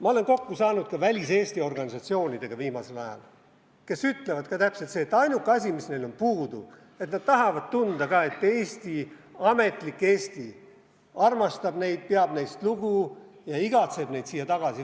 Ma olen viimasel ajal saanud kokku ka väliseesti organisatsioonidega, kes ütlevad ka, et ainuke asi, mis neil on puudu, on see, et nad tahavad ka tunda, et Eesti, ametlik Eesti armastab neid, peab neist lugu ja igatseb neid siia tagasi.